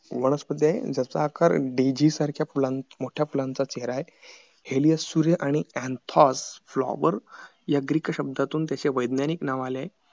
वनस्पती आहे ज्याचा आकार dazy सारख्या मोठ्या फुलांचा चेहरा आहे heliuos sury आणि anthol flower या ग्रीक शब्दातून त्याचे वैज्ञानिक नाव आलाय